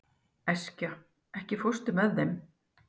Eskja, ekki fórstu með þeim?